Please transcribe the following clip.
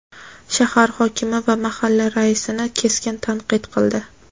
shahar hokimi va mahalla raisini keskin tanqid qildi.